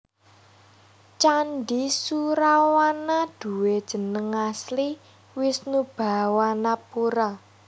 Candhi Surawana duwé jeneng asli Wishnubhawanapura